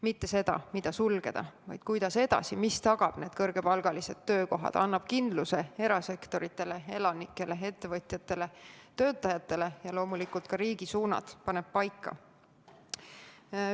Mitte seda, mida sulgeda, vaid kuidas edasi, mis tagab need kõrgepalgalised töökohad, annab kindluse erasektorile, elanikele, ettevõtjatele, töötajatele ja loomulikult paneb ka riigi suunad paika.